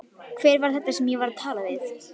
Hver var þetta sem ég var að tala við?